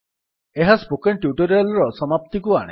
ଏହା spoken tutorial ର ସମାପ୍ତିକୁ ଆଣେ